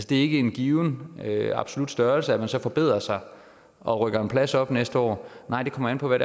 det er ikke en given absolut størrelse at man så forbedrer sig og rykker en plads op næste år nej det kommer an på hvad